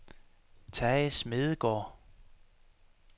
Tage Smedegaard